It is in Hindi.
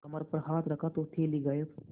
कमर पर हाथ रखा तो थैली गायब